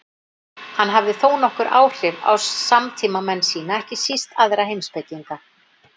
Hann hafði þónokkur áhrif á samtímamenn sína, ekki síst aðra heimspekinga.